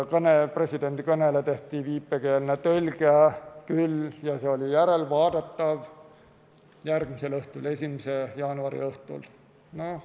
Presidendi kõnele tehti viipekeelne tõlge küll, see oli järelvaadatav järgmisel õhtul, 1. jaanuari õhtul.